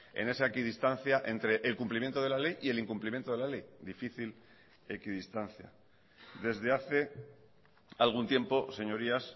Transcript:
en esa equidistancia entre el cumplimiento de la ley y el incumplimiento de la ley difícil equidistancia desde hace algún tiempo señorías